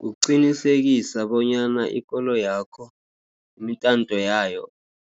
Kuqinisekisa bonyana ikoloyakho imitanto yayo